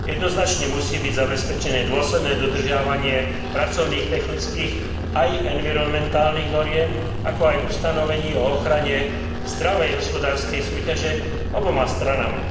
Jednoznačne musí byť zabezpečené dôsledné dodržiavanie pracovných, technických aj environmentálnych noriem, ako aj ustanovení o ochrane zdravej hospodárskej súťaže oboma stranami.